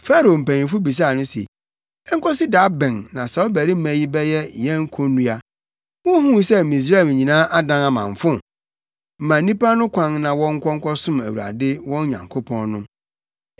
Farao mpanyimfo bisaa no se, “Enkosi da bɛn na saa ɔbarima yi bɛyɛ yɛn konnua? Wunhuu sɛ Misraim nyinaa adan amamfo? Ma nnipa no kwan na wɔnkɔ nkɔsom Awurade wɔn Nyankopɔn no!”